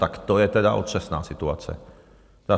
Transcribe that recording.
Tak to je tedy otřesná situace.